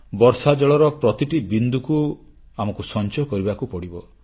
ବର୍ଷାଜଳର ପ୍ରତିଟି ବିନ୍ଦୁକୁ ଆମକୁ ସଂଚୟ କରିବାକୁ ପଡ଼ିବ